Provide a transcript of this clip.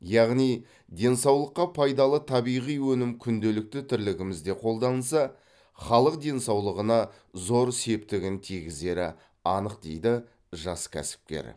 яғни денсаулыққа пайдалы табиғи өнім күнделікті тірлігімізде қолданылса халық денсаулығына зор септігін тигізері анық дейді жас кәсіпкер